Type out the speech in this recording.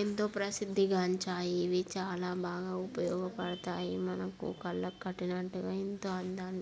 ఎంతో ప్రసిద్ధిగాంచాయి. ఇవి చాలా బాగా ఉపయోగపడతాయి. మనకు కళ్ళకు కట్టినట్టుగా ఇంత అందాన్ని --